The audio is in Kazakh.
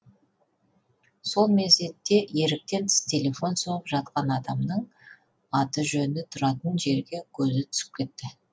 сол мезетте еріктен тыс телефон соғып жатқан адамның аты жөні тұратын жерге көзі түсіп кетті